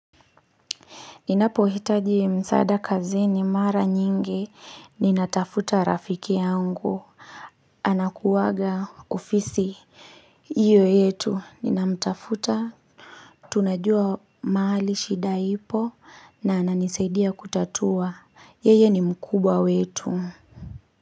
Ninapo hitaji msada kazini mara nyingi, ninatafuta rafiki yangu. Anakuwaga ofisi, hiyo yetu, ninamtafuta. Tunajua mahali shida ipo na ananisaidia kutatua. Yeye ni mkubwa wetu.